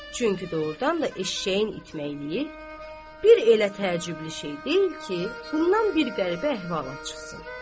Çünki doğrudan da eşşəyin itməkliyi, bir elə təəccüblü şey deyil ki, bundan bir qəribə əhvalat çıxsın.